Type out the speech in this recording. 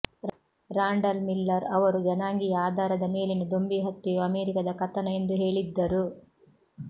Randall Miller ಅವರು ಜನಾಂಗೀಯ ಆಧಾರದ ಮೇಲಿನ ದೊಂಬಿ ಹತ್ಯೆಯು ಅಮೆರಿಕದ ಕಥನ ಎಂದು ಹೇಳಿದ್ದರು